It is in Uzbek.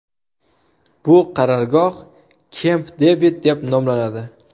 Bu qarorgoh Kemp-Devid, deb nomlanadi.